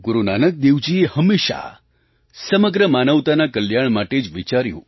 ગુરુ નાનક દેવજીએ હંમેશાં સમગ્ર માનવતાના કલ્યાણ માટે જ વિચાર્યું